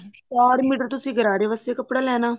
ਚਾਰ ਮੀਟਰ ਤੁਸੀਂ ਗਰਾਰੇ ਵਾਸਤੇ ਕੱਪੜਾ ਲੈਣਾ